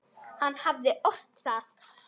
Hann hafði ort það.